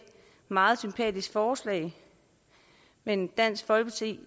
meget sympatisk forslag men dansk folkeparti